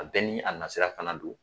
A bɛɛ ni a na sira fana don